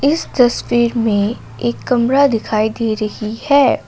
इस तस्वीर में एक कमरा दिखाई दे रही है।